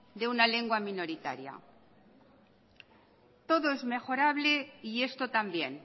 de una lengua minoritaria todo es mejorable y esto también